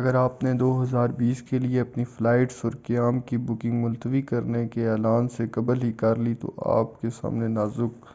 اگر آپ نے 2020 کیلئے اپنی فلائٹس اور قیام کی بُکنگ ملتوی کرنے کے اعلان سے قبل ہی کر لی ہے تو آپ کے سامنے نازک